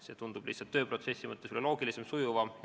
See tundub lihtsalt tööprotsessi mõttes olevat loogilisem ja sujuvam.